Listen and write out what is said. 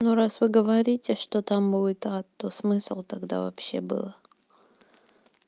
ну раз вы говорите что там будет а то смысл тогда вообще было